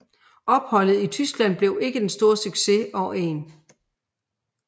Opholdet i Tyskland blev ikke den store succes og 1